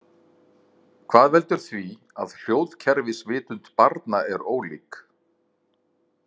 Hvað veldur því að hljóðkerfisvitund barna er ólík.